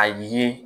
A ye